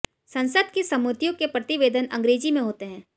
संसद की समितियों के प्रतिवेदन अंग्रेजी में होते हैं